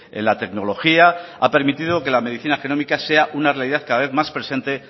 en la tecnología ha permitido que la medicina genómica sea una realidad cada vez más presente